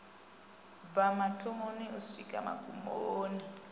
bva mathomoni u swika magumoni